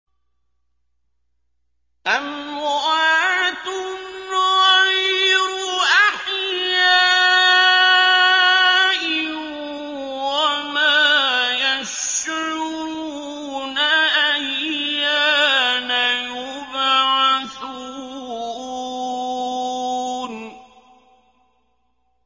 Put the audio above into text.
أَمْوَاتٌ غَيْرُ أَحْيَاءٍ ۖ وَمَا يَشْعُرُونَ أَيَّانَ يُبْعَثُونَ